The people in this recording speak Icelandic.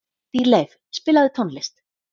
Dýrleif, spilaðu tónlist.